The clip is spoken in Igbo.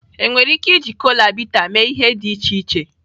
Enwere ike iji kola bitter mee ihe dị iche iche.